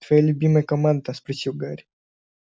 твоя любимая команда спросил гарри